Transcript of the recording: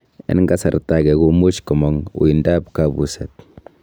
En kasarta age, komuch komong' uuindap kabuset.